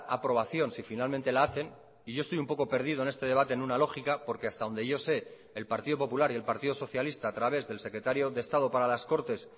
aprobación si finalmente la hacen y yo estoy un poco perdido en este debate en una lógica porque hasta donde yo sé el partido popular y el partido socialista a través del secretario de estado para las cortes